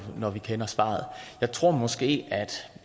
når vi kender svaret jeg tror måske at